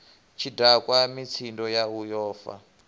tshidakwa mitsindo yau yo fa